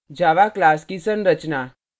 java class की संरचना